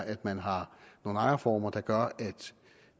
at man har nogle ejerformer der gør at